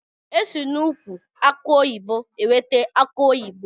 Esi na ụkwụ akụ oyibo enweta akụ oyibo.